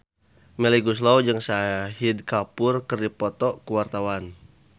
Melly Goeslaw jeung Shahid Kapoor keur dipoto ku wartawan